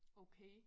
Okay